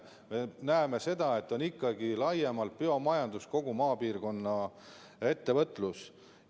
Me näeme seda, et tegelikult on ikkagi laiemalt biomajandus, samuti kogu maapiirkonna ettevõtlus.